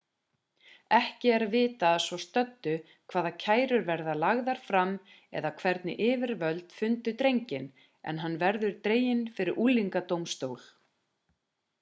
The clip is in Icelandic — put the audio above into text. ekki er vitað að svo stöddu hvaða kærur verða lagðar fram eða hvernig yfirvöld fundu drenginn en hann verður dreginn fyrir unglingadómstól